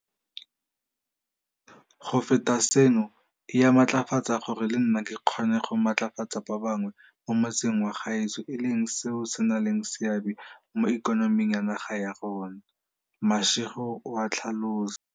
Go feta seno, e a mmatlafatsa gore le nna ke kgone go ka matlafatsa ba bangwe mo motseng wa gaetsho e leng seo se nang le seabe mo ikonoming ya naga ya rona, Mashego o a tlhalosa.